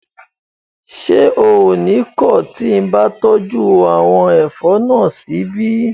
Ṣé o ní kọ̀ tí mo bá tọ́jú àwọn ẹ̀fọ́ náà síbí?